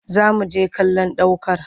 Za mu je kallon ɗ aukar